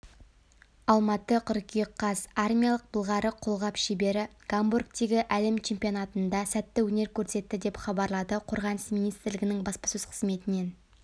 алматы қыркүйек қаз армиялық былғары қолғап шебері гамбургтегі әлем чемпионатында сәтті өнер көрсетті деп хабарлады қорғаныс министрлігінің баспасөз қызметінен